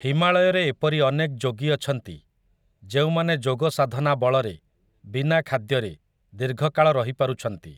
ହିମାଳୟରେ ଏପରି ଅନେକ୍ ଯୋଗୀ ଅଛନ୍ତି, ଯେଉଁମାନେ ଯୋଗସାଧନା ବଳରେ, ବିନା ଖାଦ୍ୟରେ, ଦୀର୍ଘକାଳ ରହିପାରୁଛନ୍ତି ।